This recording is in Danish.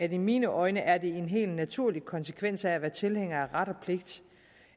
i mine øjne er en helt naturlig konsekvens af at være tilhænger af ret og pligt